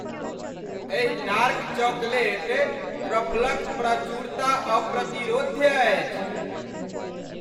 एहि dark chocolate ट्रफलक प्रचुरता अप्रतिरोध्य अछि।